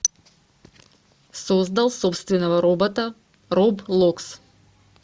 создал собственного робота роблокс